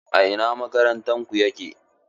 A ina makarantar ku yake?